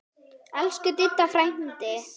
Elsku Diddi frændi.